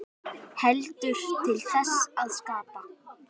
Heldur til þess að skapa.